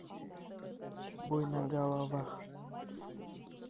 бой на головах